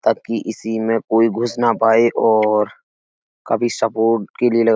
ताकि इसी में कोई घुस ना पाए और काफी सपोर्ट के लिए लगाए --